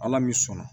Ala min sɔnna